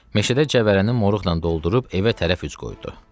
Meşədə cəvələni moruqla doldurub evə tərəf üz qoydu.